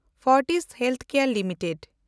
Fortis ᱦᱮᱞᱥᱠᱮᱭᱮᱱᱰ limited